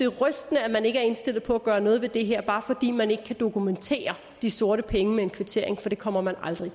rystende at man ikke er indstillet på at gøre noget ved det her bare fordi man ikke kan dokumentere de sorte penge med en kvittering for det kommer man aldrig